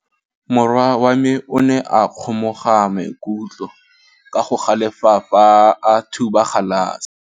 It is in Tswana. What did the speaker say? Morwa wa me o ne a kgomoga maikutlo ka go galefa fa a thuba galase.